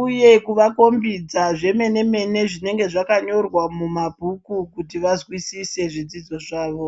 uye kuvakombidza zvemene mene zvinenge zvakanyorwa mumabhuku kuti vazwisise zvidzidzo zvavo.